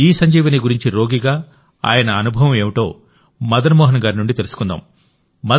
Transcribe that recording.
ఇసంజీవని గురించి రోగిగా ఆయన అనుభవం ఏమిటో మదన్ మోహన్ గారి నుండి తెలుసుకుందాం